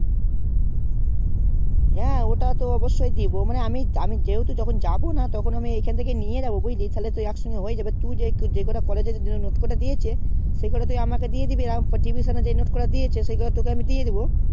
হ্যাঁ ওটা তো অবশ্যয় দিবো মানে আমি আমি যেহুতু যখন যাবো না তখন আমি এই খান থেকেই নিয়ে যাবো বুজলি তাহলে তুই একসঙ্গে হয়ে যাবে তুই যেই কটা college এর জন্যে note কটা দিয়েছে সেই কটা আমাকে তুই দিয়ে দিবি আর আমাকে tuition এ যে note কোটা দিয়েছে সেগুলো তোকে দিয়ে দিবো